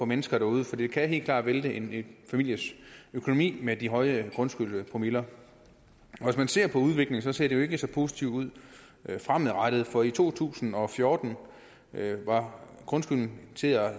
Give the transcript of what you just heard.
mennesker derude for det kan helt klart vælte en families økonomi med de høje grundskyldspromiller hvis man ser på udviklingen ser det jo ikke så positivt ud fremadrettet for i to tusind og fjorten var grundskylden